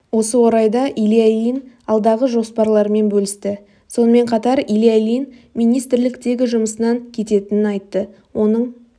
осы орайда илья ильин алдағы жоспарларымен бөлісті сонымен қатар илья ильин министрліктегі жұмысынан кететінін айтты оның